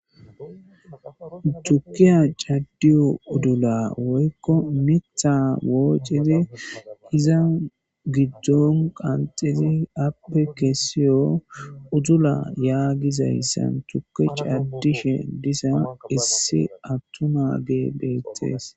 Tukkiya caddiyo udula woyko miththa woocidi iza giddon qanxxidi,appe kessiyo udula yaagiyaysan tukke caddishe diza issi attuma nay beetes.